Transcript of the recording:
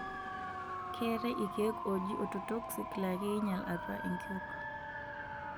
Keetae ilkeek ooji Ototoxic laa keinyal atua enkiok.